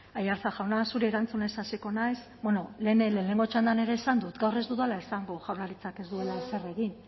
aiartza jauna zuri erantzunez hasiko naiz lehenengo txandan ere esan dut gaur ez dudala esango dut jaurlaritzak ez duela ezer egin